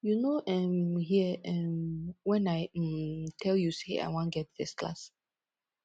you no um hear um wen i um tel you sey i wan get first class